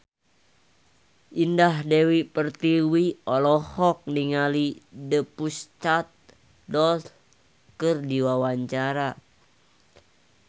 Indah Dewi Pertiwi olohok ningali The Pussycat Dolls keur diwawancara